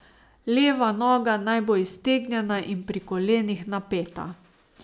Leva noga naj bo iztegnjena in pri kolenih napeta.